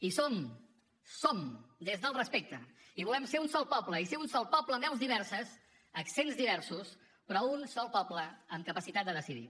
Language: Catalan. i som som des del respecte i volem ser un sol poble i ser un sol poble amb veus diverses accents diversos però un sol poble amb capacitat de decidir